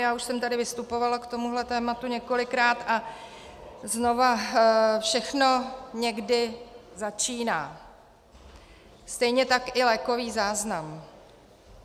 Já už jsem tady vystupovala k tomuto tématu několikrát a znova - všechno někdy začíná, stejně tak i lékový záznam.